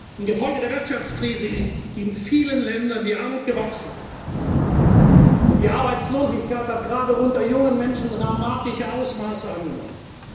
Im Gefolge der Wirtschaftskrise ist in vielen Ländern die Armut gewachsen, und die Arbeitslosigkeit hat gerade unter jungen Menschen dramatische Ausmaße angenommen.